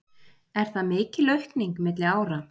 Er það mikil aukning milli ára